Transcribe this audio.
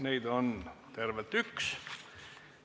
Neid on tervelt üks.